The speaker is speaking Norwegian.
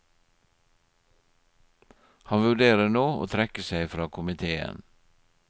Han vurderer nå å trekke seg fra komitéen.